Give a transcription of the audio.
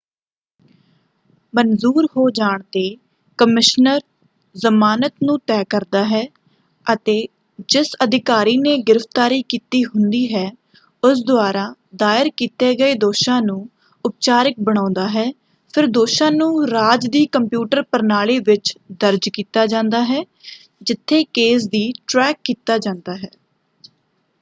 ਮਨਜੂਰ ਹੋ ਜਾਣ ‘ਤੇ ਕਮਿਸ਼ਨਰ ਜਮਾਨਤ ਨੂੰ ਤੈਅ ਕਰਦਾ ਹੈ ਅਤੇ ਜਿਸ ਅਧਿਕਾਰੀ ਨੇ ਗ੍ਰਿਫਤਾਰੀ ਕੀਤੀ ਹੁੰਦੀ ਹੈ ਉਸ ਦੁਆਰਾ ਦਾਇਰ ਕੀਤੇ ਗਏ ਦੋਸ਼ਾਂ ਨੂੰ ਉਪਚਾਰਿਕ ਬਣਾਉਂਦਾ ਹੈ। ਫਿਰ ਦੋਸ਼ਾਂ ਨੂੰ ਰਾਜ ਦੀ ਕੰਪਿਊਟਰ ਪ੍ਰਣਾਲੀ ਵਿੱਚ ਦਰਜ ਕੀਤਾ ਜਾਂਦਾ ਹੈ ਜਿੱਥੇ ਕੇਸ ਦੀ ਟ੍ਰੈਕ ਕੀਤਾ ਜਾਂਦਾ ਹੈ।